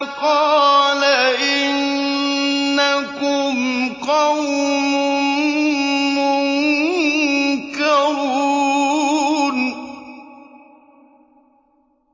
قَالَ إِنَّكُمْ قَوْمٌ مُّنكَرُونَ